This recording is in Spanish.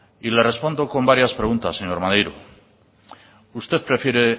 y le respondo con varias preguntas señor maneiro usted prefiere